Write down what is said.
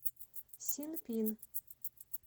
синпин